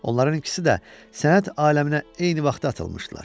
Onların ikisi də sənət aləminə eyni vaxtda atılmışdılar.